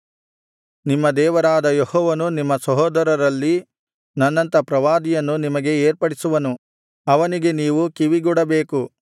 ನಿಮ್ಮ ದೇವರಾದ ಯೆಹೋವನು ನಿಮ್ಮ ಸಹೋದರರಲ್ಲಿ ನನ್ನಂಥ ಪ್ರವಾದಿಯನ್ನು ನಿಮಗೆ ಏರ್ಪಡಿಸುವನು ಅವನಿಗೆ ನೀವು ಕಿವಿಗೊಡಬೇಕು